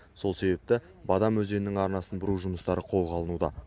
сол себепті бадам өзенінің арнасын бұру жұмыстары қолға алынуда